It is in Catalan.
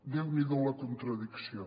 déu n’hi do la contradicció